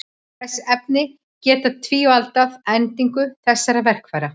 Þessi efni geta tífaldað endingu þessara verkfæra.